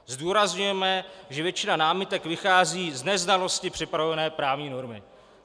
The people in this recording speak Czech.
Zdůrazňujeme, že většina námitek vychází z neznalosti připravované právní normy."